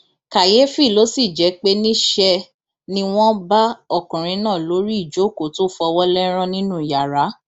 kàyééfì ló sì jẹ pé níṣẹ ni wọn bá ọkùnrin náà lórí ìjókòó tó fọwọ lẹrán nínú yàrá